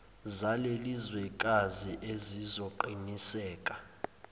zaleli zwekazi ezizoqiniseka